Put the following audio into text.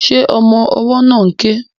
Ṣé ọmọ ọwọ́ náà ń ké?